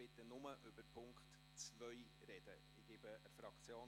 Bitte sprechen Sie nur über Punkt 2.